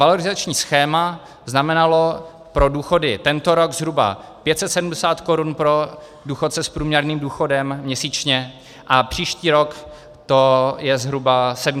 Valorizační schéma znamenalo pro důchody tento rok zhruba 570 korun pro důchodce s průměrným důchodem měsíčně a příští rok to je zhruba 720 korun.